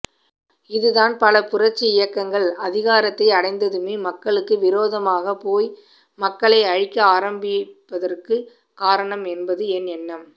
இதுதான் பல புரட்சி இயக்கங்கள் அதிகாரத்தை அடைந்ததுமே மக்களுக்கு விரோதமாகப்போய் மக்களை அழிக்க ஆரம்பிப்பதற்குக் காரணம் என்பது என் எண்ணம்